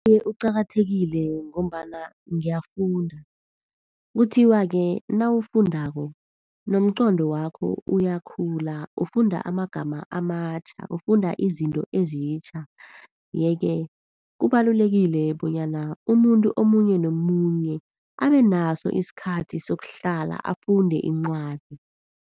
Iye, uqakathekile ngombana ngiyafunda. Kuthiwa-ke nawufundako nomqondo wakho uyakhula. Ufunda amagama amatjha, ufunda izinto ezitjha. Yeke kubalulekile bonyana umuntu omunye nomunye abenaso isikhathi sokuhlala afunde iincwadi.